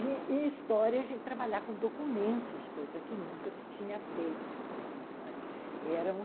E e história é a gente trabalhar com documentos, coisa que nunca se tinha feito.